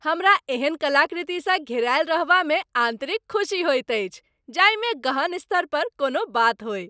हमरा एहन कलाकृतिसँ घेरायल रहबामे आन्तरिक खुसी होइत अछि जाहिमे गहन स्तर पर कोनो बात होइ।